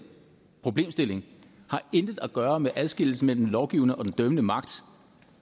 problemstilling har intet at gøre med adskillelsen mellem den lovgivende og den dømmende magt